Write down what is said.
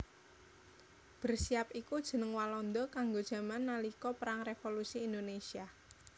Bersiap iku jeneng Walanda kanggo jaman nalika Perang Revolusi Indonésia